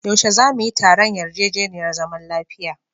Yaushe za su yi taron yarjejeniyar zaman lafiya?